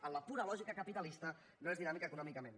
en la pura lògica capitalista no es dinàmic econòmicament